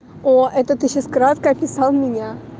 о это ты сейчас кратко описал меня